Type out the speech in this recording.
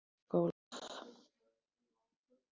Og það var skálað.